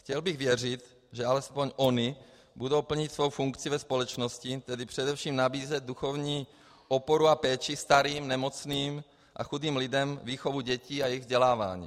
Chtěl bych věřit, že alespoň ony budou plnit svou funkci ve společnosti, tedy především nabízet duchovní oporu a péči starým, nemocným a chudým lidem, výchovu dětí a jejich vzdělávání.